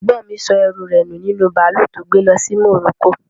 Ẹ̀gbọ́n mi sọ ẹrú rẹ̀ nu nínú bàálù tí ó gbe lọ sí Morocco